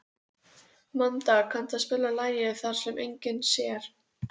Strákurinn á brettunum er kaupamaður hjá mér, á heimleið.